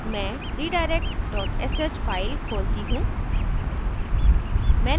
मैं redirect sh file खोलती हूँ